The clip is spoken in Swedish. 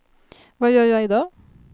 vad gör jag idag